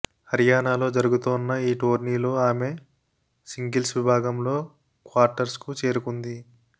హరియాణాలో జరుగుతోన్న ఈ టోర్నీలో ఆమె సింగిల్స్ విభాగంలో క్వార్టర్స్కు చేరుకుంది